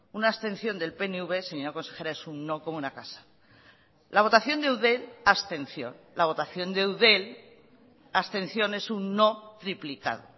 una abstención del pnv señora consejera es un no como una casa la votación de eudel abstención la votación de eudel abstención es un no triplicado